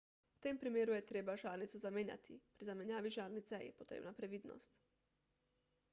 v tem primeru je treba žarnico zamenjati pri zamenjavi žarnice je potrebna previdnost